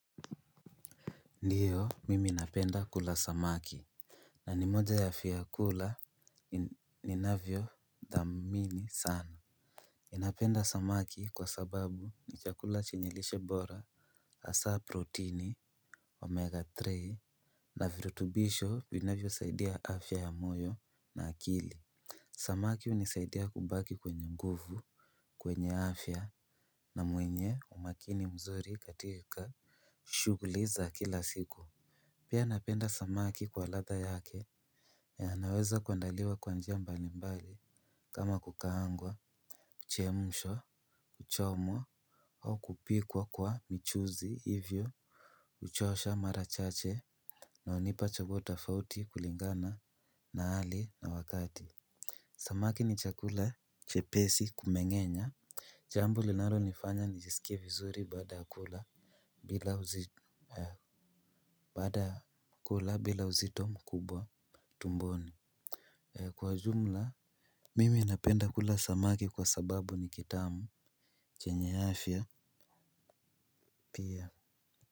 Ndiyo mimi napenda kula samaki. Na ni moja ya fiakula ninavyo dhamini sana napenda samaki kwa sababu ni chakula chenye lishe bora hasaa protini omega tatu na virutubisho vinavyo saidia afya ya moyo na akili. Samaki hunisaidia kubaki kwenye nguvu kwenye afya na mwenye umakini mzuri katika shugli za kila siku. Pia napenda samaki kwa ladha yake ya anaweza kuandaliwa kwa njia mbali mbali kama kukaangwa kuchemushwa, kuchomwa au kupikwa kwa michuzi hivyo huchosha mara chache na unipa chaguo tofauti kulingana na hali na wakati. Samaki ni chakula chepesi kumeng'enya. Jambo linalo nifanya nijisikie vizuri baada kula bila uzito mkubwa Tumboni. Kwa jumla, mimi napenda kula samaki kwa sababu ni kitamu chenye afya. Pia.